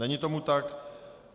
Není tomu tak.